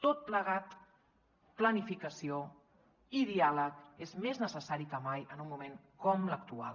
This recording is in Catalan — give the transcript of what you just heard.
tot plegat planificació i diàleg és més necessari que mai en un moment com l’actual